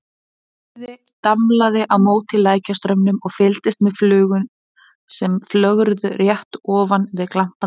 Urriði damlaði á móti lækjarstraumnum og fylgdist með flugum sem flögruðu rétt ofan við glampandi